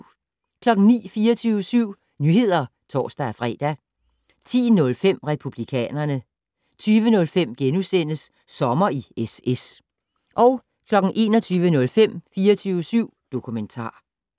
09:00: 24syv Nyheder (tor-fre) 10:05: Republikanerne 20:05: Sommer i SS * 21:05: 24syv dokumentar